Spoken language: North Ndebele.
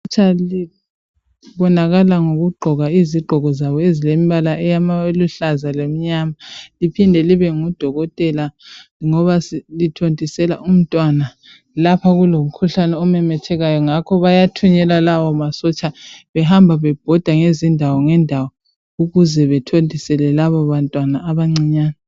Isotsha libonakala ngokugqoka izigqoko zabo ezilembala eluhlaza lemnyama liphinde libe ngudokotela ngoba lithontisela umntwana .Lapha kulomkhuhlane omemethekayo Ngakho bayathunyelwa lawo masotsha behamba bebhoda ngezindawo ngendawo ukuze bethontisele labo bantwana abancinyane .